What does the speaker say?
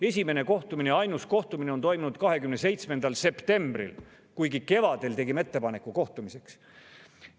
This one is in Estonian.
Esimene ja ainus kohtumine toimus 27. septembril, kuigi me tegime ettepaneku kohtumiseks kevadel.